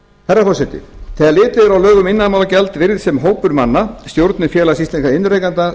herra forseti þegar litið er á lög um iðnaðarmálagjald virðist sem hópur manna stjórnir félags íslenskra iðnrekenda